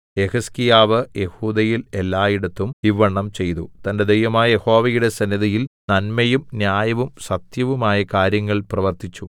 യെഹിസ്കീയാവ് യെഹൂദയിൽ എല്ലയിടത്തും ഇവ്വണ്ണം ചെയ്തു തന്റെ ദൈവമായ യഹോവയുടെ സന്നിധിയിൽ നന്മയും ന്യായവും സത്യവും ആയ കാര്യങ്ങൾ പ്രവർത്തിച്ചു